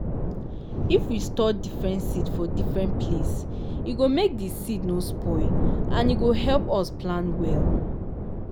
if we store different seed for different place e go make di seed nor spoil and e go help us plan well.